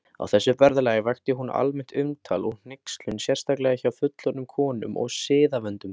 Á þessu ferðalagi vakti hún almennt umtal og hneykslun, sérstaklega hjá fullorðnum konum og siðavöndum.